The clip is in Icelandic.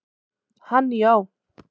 Hann já.